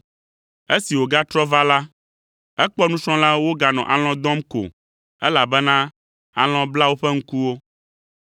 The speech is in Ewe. Esi wògatrɔ va la, ekpɔ nusrɔ̃lawo woganɔ alɔ̃ dɔm ko, elabena alɔ̃ bla woƒe ŋkuwo.